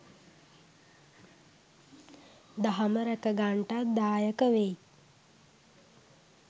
දහම රැකගන්ටත් දායක වෙයි